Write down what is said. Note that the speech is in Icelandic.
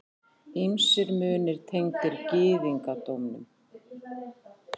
Ýmsir munir tengdir gyðingdómnum.